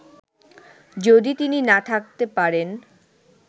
যদি তিনি না থাকতে পারেন